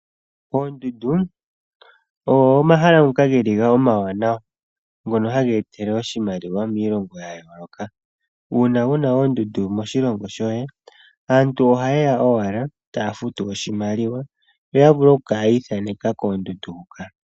Oondundu ogo ngoka omahala geli omawanawa , ngono haga etele oshimaliwa miilongo yayooloka . Uuna wuna oondundu moshilongo shoye aantu ohayeya owala taya futu oshimaliwa, yo yavule okukala yiithaneka koondundu huka.